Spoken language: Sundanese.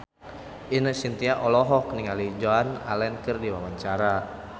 Ine Shintya olohok ningali Joan Allen keur diwawancara